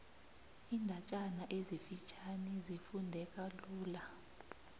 iindatjana ezifitjhani zifundeka lula